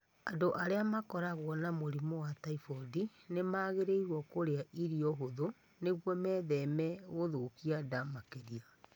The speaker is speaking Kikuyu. Andũ arĩa makoragwo na mũrimũ wa typhoid nĩ magĩrĩirũo kũrĩa irio hũthũ nĩguo metheme gũthũkia nda makĩria.